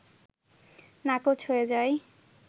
নাকচ হয়ে যায়